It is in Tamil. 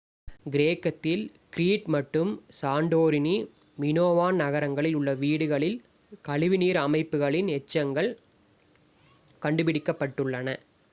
கிரேக்கத்தில் கிரீட் மற்றும் சாண்டோரினி மினோவான் நகரங்களில் உள்ள வீடுகளில் கழிவுநீர் அமைப்புகளின் எச்சங்கள் கண்டுபிடிக்கப்பட்டுள்ளன